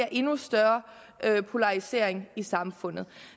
endnu større polarisering i samfundet